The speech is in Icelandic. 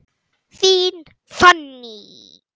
Þín Fanný.